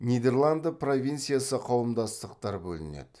нидерланды провинциясы қауымдастықтар бөлінеді